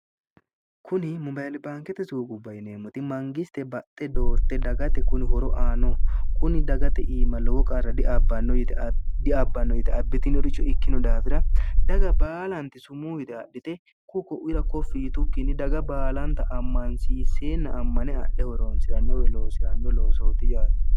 kuni mobaeli baankete suuqubbayineemmoti mangiste baxxe doorte dagate kuni horo aano kuni dagate iima lowo qarra diabbanno edhiabbanno yite abbitinoricho ikkino daafira daga baalanti sumuuwite adhite kuko'uira koffiitukkinni daga baalanta ammansiisseenna ammane adhe horoonsi'rannowe loosi'ranno loosooti yaate